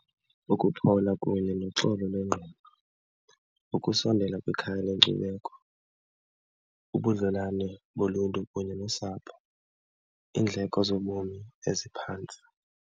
Ukuphawula kunye noxolo lwengqondo, ukusondela kwikhaya lenkcubeko, ubudlelwane boluntu kunye nosapho, iindleko zobomi eziphantsi.